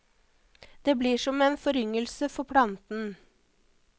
Det blir som en foryngelse for planten.